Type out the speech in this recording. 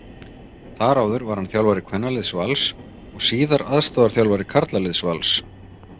Þar áður var hann þjálfari kvennaliðs Vals og síðar aðstoðarþjálfari karlaliðs Vals.